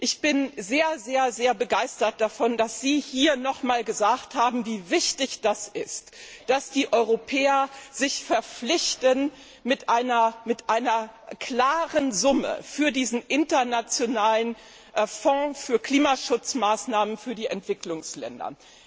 Ich bin sehr, sehr, sehr begeistert davon, dass Sie hier nochmals gesagt haben, wie wichtig das ist, dass die Europäer sich verpflichten mit einer klaren Summe für diesen internationalen Fonds für Klimaschutzmaßnahmen für die Entwicklungsländer.